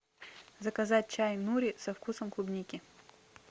заказать чай нури со вкусом клубники